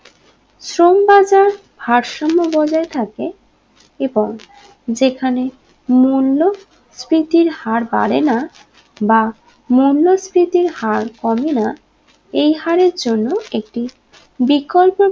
সমবাজার ভারসম্য বজায় থাকে এবং যেখানে মূল্যস্ফীতির হার বাড়ে না বা মূল্যস্ফীতির হার কমে না এই হাড়ের জন্য একটি বিকল্প